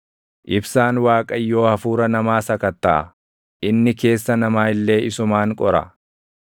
Ibsaan Waaqayyoo hafuura namaa sakattaʼa; inni keessa namaa illee isumaan qora.